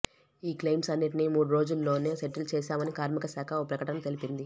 ఈ క్లెయిమ్స్ అన్నిటినీ మూడు రోజుల్లోనే సెటిల్ చేశామని కార్మిక శాఖ ఓ ప్రకటనలో తెలిపింది